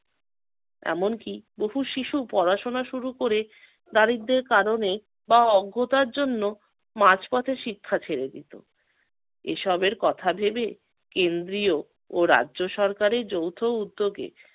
এমন কি বহু শিশু পড়াশোনা শুরু করে দারিদ্র্যের কারণে বা অজ্ঞতার জন্য মাঝপথে শিক্ষা ছেড়ে দিত। এসবের কথা ভেবে কেন্দ্রীয় ও রাজ্য সরকারের যৌথ উদ্যোগে